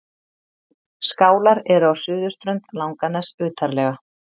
Skálar eru á suðurströnd Langaness utarlega.